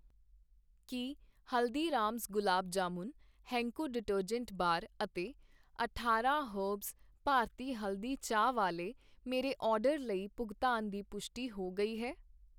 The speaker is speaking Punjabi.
ਕੀ Haldiram's gulab jamun, Henko detergent bar ਅਤੇ ਅਠਾਰ੍ਹਾਂ ਹਰਬਜ਼ ਭਾਰਤੀ ਹਲਦੀ ਚਾਹ ਵਾਲੇ ਮੇਰੇ ਆਰਡਰ ਲਈ ਭੁਗਤਾਨ ਦੀ ਪੁਸ਼ਟੀ ਹੋ ਗਈ ਹੈ?